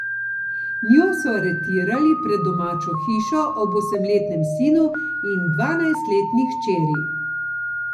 Njo so aretirali pred domačo hišo ob osemletnem sinu in dvanajstletni hčeri.